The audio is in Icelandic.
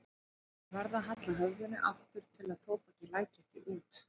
Hann varð að halla höfðinu aftur til að tóbakið læki ekki út.